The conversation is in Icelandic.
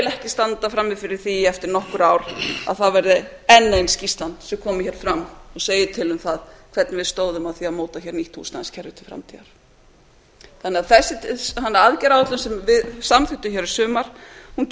vil ekki standa frammi fyrir því eftir nokkur ár að það verði enn ein skýrslan sem komi hér fram og segi til um það hvernig við stóðum að því að móta nýtt húsnæðiskerfi til framtíðar þannig að þessi aðgerðaáætlun sem við samþykktum hér í sumar